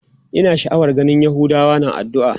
Ina sha'awar ganin yahudawa na addu'a.